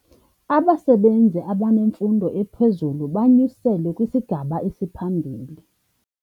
Abasebenzi abanemfundo ephezulu banyuselwe kwisigaba esiphambili.